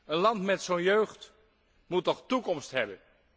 Een land met zo'n jeugd moet toch toekomst hebben.